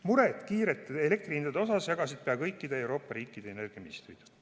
Muret elektrihindade kiire tõusu pärast jagasid pea kõikide Euroopa riikide energiaministrid.